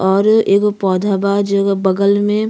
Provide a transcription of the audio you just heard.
और एगो पौधा बा। जेये बगल में --